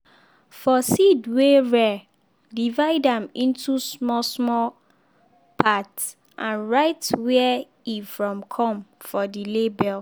for seed wey rare divide am into small-small parts and write where e from come for the label.